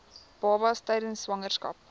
babas tydens swangerskap